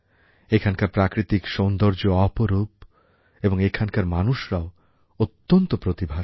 এখানকার প্রাকৃতিক সৌন্দর্য অপরূপএবং এখানকার মানুষরাও অত্যন্ত প্রতিভাশালী